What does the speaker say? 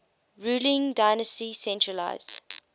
ruling dynasty centralised